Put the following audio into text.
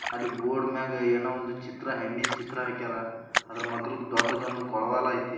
ಅಲ್ಲಿ ಬೋರ್ಡ್ ಮೇಲೆ ಏನೋ ಒಂದು ಚಿತ್ರ ಹೆಣ್ಣಿನ ಚಿತ್ರ ಹಾಕ್ಯರ. ಆದ್ರೆ ಮಗ್ಗಲ್ ಒಂದು ದೊಡ್ಡ ಕೊಳವಾಳ ಐತಿ.